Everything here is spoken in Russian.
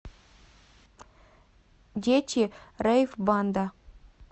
дети рэйв банда